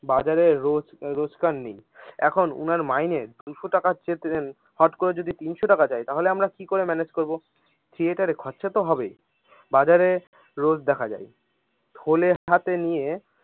বাজারে রে রোজগার নেই এখন উনার মাইনে দুইশো চেয়েছেন হতকরে যদি তিনশো টাকা চাই তাহলে আমরা কি করে manage করবো থিয়েটারে খরচা তো হবেই । বাজারে রোজ দেখা যায় থলের হাতে নিয়ে।